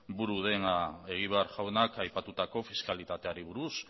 buru dena egibar jaunak aipatutako fiskalitateari buruz